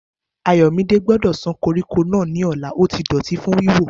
Ayomide gbọ́dọ̀ san koríko náà ní ọ̀la, ó ti dọ̀tí ní wíwò